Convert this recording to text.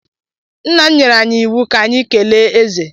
Nna m nyere anyị iwu ka anyị kelee eze.